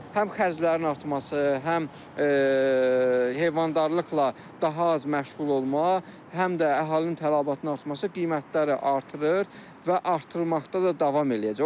Həm xərclərin artması, həm heyvandarlıqla daha az məşğul olma, həm də əhalinin tələbatının artması qiymətləri artırır və artırmaqda da davam eləyəcək.